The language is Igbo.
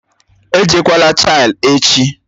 Èjekwalà Chile echi!